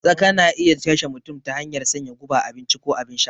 Tsaka na iya kashe mutum ta hanyar sanya guba a abinci ko abin sha